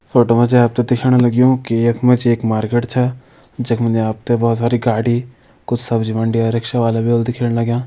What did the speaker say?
Photo मा जी आप तें दिखण लग्युं की यख मा एक मार्किट छा जख मा जी आप ते बहोत सारी गाड़ी कुछ सब्जी मंडी और रिक्शा वाला भी होला दिखेण लग्यां।